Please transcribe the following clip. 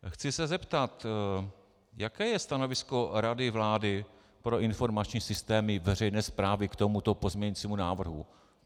Chci se zeptat, jaké je stanovisko Rady vlády pro informační systémy veřejné správy k tomuto pozměňovacímu návrhu.